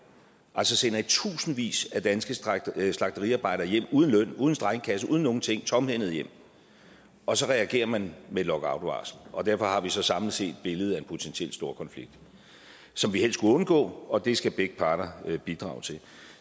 altså sender i tusindvis af danske slagteriarbejdere hjem uden løn uden strejkekasse uden nogen ting tomhændede hjem og så reagerer man med lockoutvarsel og derfor har vi så samlet set billedet af en potentiel storkonflikt som vi helst skulle undgå og det skal begge parter bidrage til